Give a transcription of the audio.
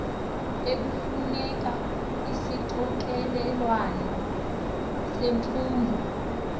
ekufuneka isixokelelwano semfundo